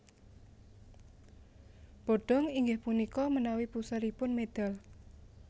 Bodong inggih punika menawi puseripun medal